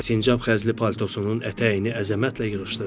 və sincab xəzli paltosunun ətəyini əzəmətlə yığışdırdı.